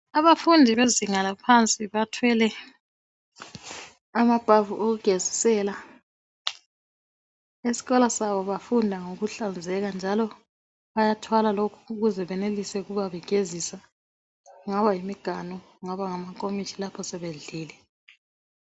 Abafundi bezinga laphansi bathwele amabhavu okugezisela, esikolo sabo bafunda ngokuhlanzeka njalo bayathwala lokhu ukuze benelise ukubabegezisa kungaba yimiganu kungaba ngamankomitsho lapho sebedlile